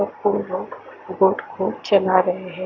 अब वो लोग बोट को चला रहे हैं।